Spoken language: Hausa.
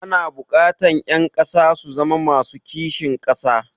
Ana buƙatar ƴan ƙasa su zama masu kishin ƙasa.